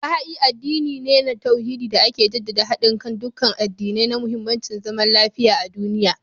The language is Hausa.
Baha'i addini ne na tauhidi da ke jaddada hadin kan dukkan addinai da muhimmancin zaman lafiya a duniya